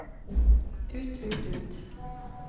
ut ut ut